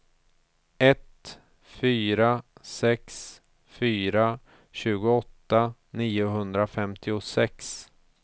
ett fyra sex fyra tjugoåtta niohundrafemtiosex